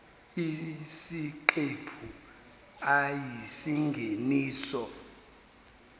isiqephu a isingeniso